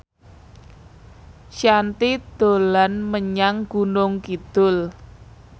Shanti dolan menyang Gunung Kidul